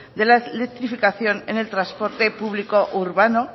de la electrificación en el transporte público urbano